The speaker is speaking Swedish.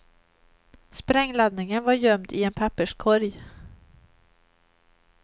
Sprängladdningen var gömd i en papperskorg.